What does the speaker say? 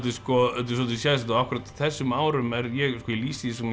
svolítið sérstakt að akkúrat á þessum árum ég lýsi því